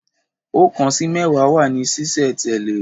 Ọ̀kan sí mẹ́wàá wà ní sí sẹ̀ tẹ̀lé